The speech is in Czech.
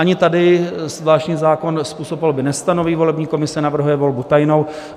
Ani tady zvláštní zákon způsob volby nestanoví, volební komise navrhuje volbu tajnou.